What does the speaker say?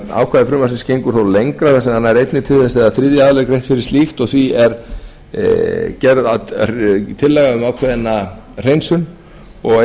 ákvæði frumvarpsins gengur þó lengra þar sem það nær einnig til þess þegar þriðja aðila er greitt fyrir slíkt því er gerð tillaga um ákveðna hreinsun og